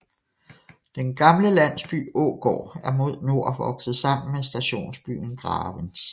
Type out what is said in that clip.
Den gamle landsby Ågård er mod nord vokset sammen med stationsbyen Gravens